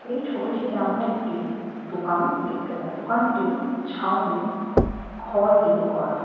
এই ছবিটিতে আমরা একটি দোকান দেখতে দোকানটি ছাউনি খড় দিয়ে করা।